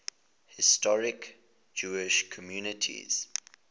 historic jewish communities